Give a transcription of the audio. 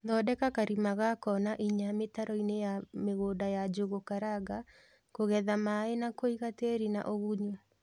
Thondeka karima ga kona inya mītaroīni ya mīgūnda ya Njūgū karanga kūgetha maī na kūiga tīri na ūgunyu,